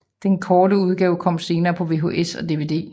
Den kortere udgave kom senere på VHS og DVD